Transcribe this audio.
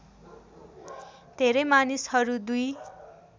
धेरै मानिसहरू दुर्इ